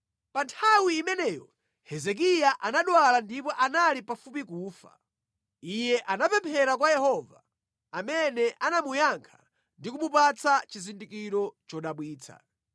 Pa nthawi imeneyo Hezekiya anadwala ndipo anali pafupi kufa. Iye anapemphera kwa Yehova, amene anamuyankha ndi kumupatsa chizindikiro chodabwitsa.